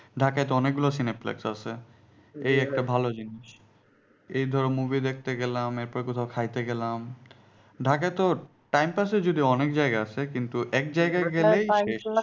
ঢাকায় তো অনেক গুলো Cineplex আছে জিনিস এই ধরো movie দেখতে গেলাম এরপর কোথাও খাইতে গেলাম ঢাকায় তো time pass এর যদিও অনেক জায়গা আছে কিন্তু